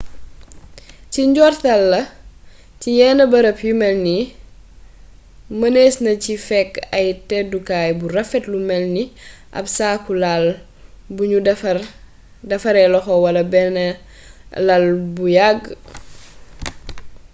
ci njortal la ci yenn barab yu mel nii mënees na ci fekk ab tëddukaay bu rafet lu melni ab saaku lal bu nu defaree loxo wala benn lal bu yàgg